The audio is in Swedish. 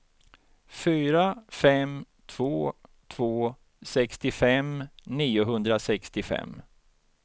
fyra fem två två sextiofem niohundrasextiofem